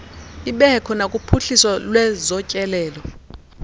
ibekho nakuphuhliso lwezotyelelo